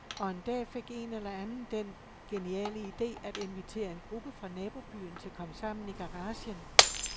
Og en dag fik en eller anden den geniale ide at invitere en gruppe fra nabobyen til komsammen i garagen.